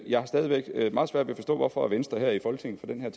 jeg stadig væk har meget svært ved at forstå hvorfor venstre her i folketinget